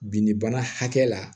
Binnibana hakɛ la